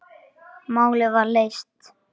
Málið var leyst.